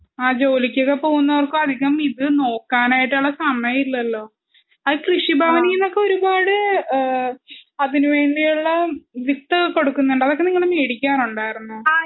ആ ജോലിക്കൊക്കെ പോകുന്നവർക്ക് അതികം ഇത് നോക്കാനായിട്ടുള്ള സമയം ഇല്ലല്ലോ? കൃഷി ഭവനിന്നൊക്കെ ഒരുപാട് ആ അതിന് വേണ്ടീയുള്ള വിത്തൊക്കെ കൊടുക്കുന്നുണ്ട് അതൊക്കെ നിങ്ങള് മേടിക്കാറുണ്ടായിരുന്നോ?